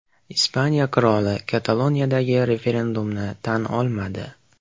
Ispaniya qiroli Kataloniyadagi referendumni tan olmadi.